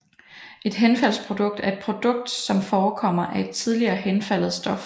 Et henfaldsprodukt er et produkt som forekommer af et tidligere henfaldet stof